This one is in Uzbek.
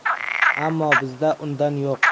Ammo bizda undan yo‘q.